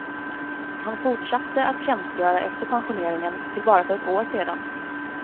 Han fortsatte att tjänstgöra efter pensioneringen till bara för ett år sedan.